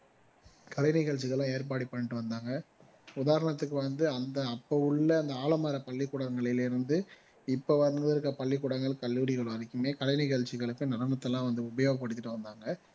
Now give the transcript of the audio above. கலை நிகழ்ச்சிகள் எல்லாம் ஏற்பாடு பண்ணிட்டு வந்தாங்க உதாரணத்துக்கு வந்து அந்த அப்போ உள்ள அந்த ஆலமர பள்ளிக்கூடங்களில் இருந்து இப்போ வந்திருக்கிற பள்ளிக்கூடங்கள், கல்லூரிகள் வரைக்குமே கலை நிகழ்ச்சிகளுக்கு நடனத்தை எல்லாம் வந்து உபயோகப்படுத்திட்டுவந்தாங்க